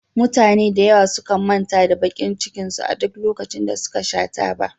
Mutane da yawa sukan manta da bakin cikin su a duk lokacin da suka sha taba